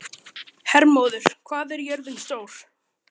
Hermóður, hvað er jörðin stór?